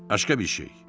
Başqa bir şey.